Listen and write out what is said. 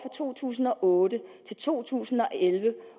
to tusind og otte til to tusind og elleve